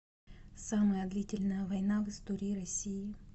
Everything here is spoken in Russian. самая длительная война в истории россии